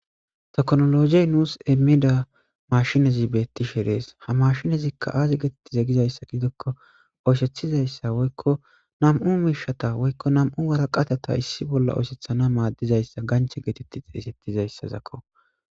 toknologiy nuus emida mashinezi beetti shirees ha mashinezikka aazi geetetti zegizayssa gidokko oyshethizayssa woykko nam7u miishata woykko nam7u waraqatata issi bolla oosethana maaddizayssa ganche geetetti xeeysettizayssazakko